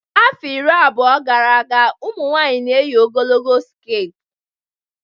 Afọ iri abụọ gara aga ụmụ nwanyị n'eyi ogologo sket